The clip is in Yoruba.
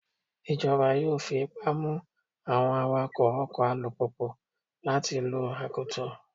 Ìjọba yóò fi ipá mú àwọn awakọ́ ọkọ̀ alùpùpù láti lo akoto.